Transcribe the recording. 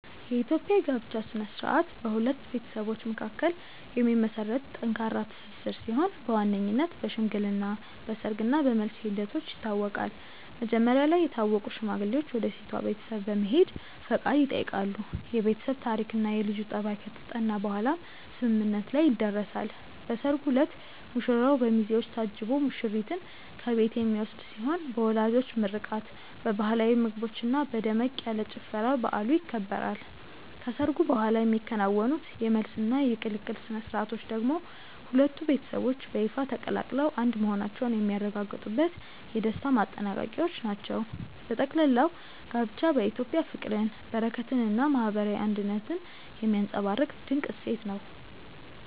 የኢትዮጵያ የጋብቻ ሥነ ሥርዓት በሁለት ቤተሰቦች መካከል የሚመሰረት ጠንካራ ትስስር ሲሆን በዋነኝነት በሽምግልና፣ በሰርግ እና በመልስ ሂደቶች ይታወቃል። መጀመሪያ ላይ የታወቁ ሽማግሌዎች ወደ ሴቷ ቤተሰብ በመሄድ ፈቃድ ይጠይቃሉ፤ የቤተሰብ ታሪክና የልጁ ጠባይ ከተጠና በኋላም ስምምነት ላይ ይደረሳል። በሰርጉ ዕለት ሙሽራው በሚዜዎች ታጅቦ ሙሽሪትን ከቤት የሚወስድ ሲሆን በወላጆች ምርቃት፣ በባህላዊ ምግቦችና በደመቅ ያለ ጭፈራ በዓሉ ይከበራል። ከሰርጉ በኋላ የሚከናወኑት የመልስና የቅልቅል ሥነ ሥርዓቶች ደግሞ ሁለቱ ቤተሰቦች በይፋ ተቀላቅለው አንድ መሆናቸውን የሚያረጋግጡበት የደስታ ማጠናቀቂያዎች ናቸው። በጠቅላላው ጋብቻ በኢትዮጵያ ፍቅርን፣ በረከትንና ማህበራዊ አንድነትን የሚያንፀባርቅ ድንቅ እሴት ነው።